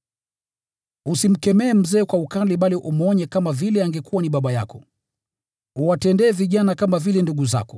Usimkemee mzee kwa ukali bali umshawishi kama vile angekuwa ni baba yako. Uwatendee vijana kama vile ndugu zako;